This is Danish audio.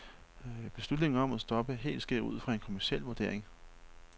Beslutningen om at stoppe helt sker ud fra en kommerciel vurdering.